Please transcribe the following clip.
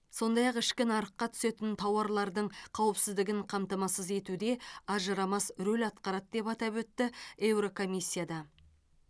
сондай ақ ішкі нарыққа түсетін тауарлардың қауіпсіздігін қамтамасыз етуде ажырамас рөл атқарады деп атап өтті еурокомиссияда